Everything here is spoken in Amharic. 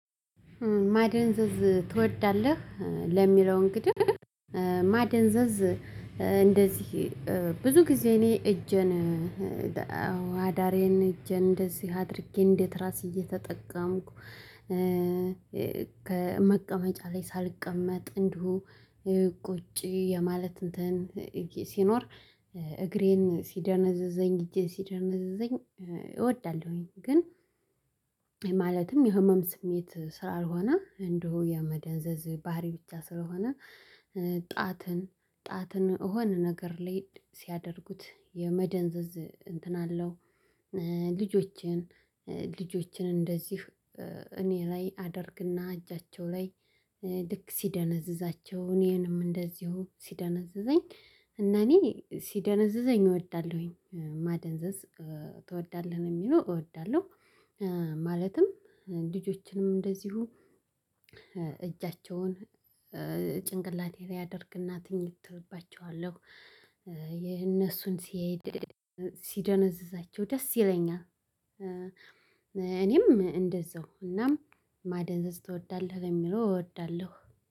ማደንዘዝ ትወዳለህ ለሚለው እንግዲህ ማደንዘዝ እንደዚህ ብዙ ጊዜ እኔ እጄን አዳሬን እጄን እንደዚህ አድርጌ እንደ ትራስ እየተጠቀምኩ ከመቀመጫ ላይ ሳልቀመጥ እንዲሁ ቁጭ የማለት እንትን ሲኖር እግሬን ሲደነዘዘኝ እጄን ሲደነዝዘኝ እወዳለሁኝ። ግን ማለትም የህመም ስሜት ስላልሆነ እንዲሁ የመደንዘዝ ባህሪ ብቻ ስለሆነ ጣትን ጣትን እሆነ ነገር ላይ ሲያደርጉት የመደንዘዝ እንትን አለው። ልጆችን ልጆችን እንደዚህ እኔ ላይ አደርግና እጃቸው ላይ ልክ ሲደነዝዛቸው እኔንም እንደዚሁ ሲደነዝዘኝ እና እኔ ሲደነዝዘኝ እወዳለሁኝ ማደንዘዝ ትወዳለህ ነው የሚለው እወዳለሁ። ማለትም ልጆችንም እንደዚሁ እጃቸውን ጭንቅላቴ ላይ አደርግና ትኝት እልባቸዋለሁ የእነሱን ሲሄድ ሲደነዝዛቸው ደስ ይለኛል እኔም እንደዛው እናም ማደንዘዝ ትወዳለህ የሚለው እወዳለሁ